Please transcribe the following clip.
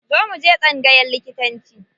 Zo mu je tsangayan likitanci.